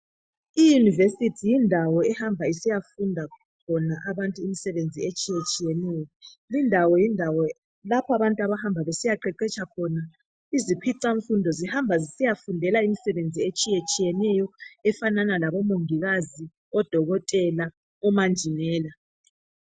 Iyunevesiti yindawo ehamba isiyafunda khona abantu imsebenzi etshiyetshiyeneyo. Lindawo yindawo lapho abantu abahamba besiyaqeqetsha khona. Izikhwicamfundo zihamba zisiyafundela imisebenzi etshiyatshiyeneyo efana labo mongikazi, odokotela, omanjinela.